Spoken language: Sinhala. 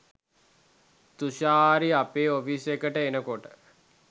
තුෂාරි අපේ ඔෆිස් එකට එනකොට